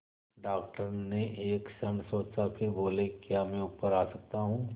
doctor ने एक क्षण सोचा फिर बोले क्या मैं ऊपर आ सकता हूँ